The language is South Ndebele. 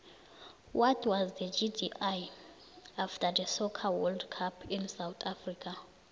what was the gdi after the soccer world cup in south africa